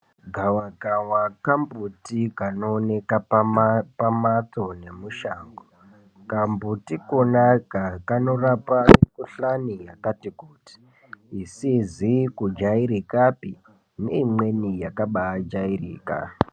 Gavakava kambuti kanooneka pamphatso nemushango. Kambuti kona aka kanorapa mikhuhlani yakati kuti, isizi kujaerekapi neimweni yakabaa jaereka.